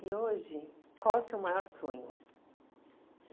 E hoje, qual é o seu maior sonho?